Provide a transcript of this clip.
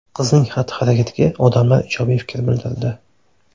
Qizning xatti-harakatiga odamlar ijobiy fikr bildirdi.